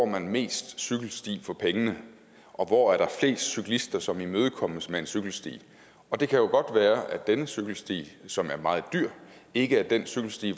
man mest cykelsti for pengene og hvor er der flest cyklister som imødekommes med en cykelsti og det kan godt være at denne cykelsti som er meget dyr ikke er den cykelsti